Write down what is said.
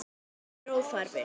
Alger óþarfi.